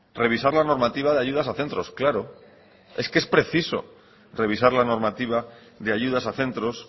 revisar la normativa de ayudas a centros claro es que preciso revisar la normativa de ayudas a centros